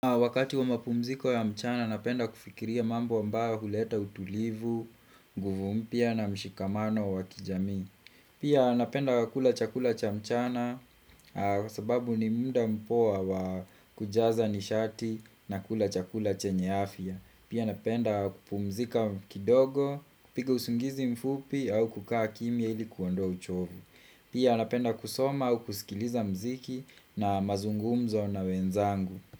Wakati wa mapumziko ya mchana, napenda kufikiria mambo ambayo huleta utulivu, nguvu mpya na mshikamano wa kijamii. Pia napenda kula chakula cha mchana, sababu ni muda mpoa wa kujaza nishati na kula chakula chenye afya. Pia napenda kupumzika kidogo, kupiga usingizi mfupi au kukaa kimya ili kuondoa uchovu. Pia napenda kusoma au kusikiliza mziki na mazungumzo na wenzangu.